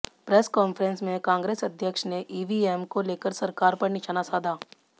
press conference में कांग्रेस अध्यक्ष ने ईवीएम को लेकर सरकार पर निशाना साधा